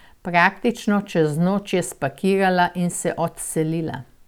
Praktično čez noč je spakirala in se odselila.